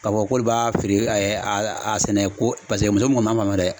K'a fɔ k'olu b'a feere a sɛnɛ ko paseke muso min kɔni m'an fanfɛ dɛ